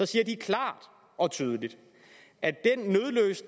siger de klart og tydeligt at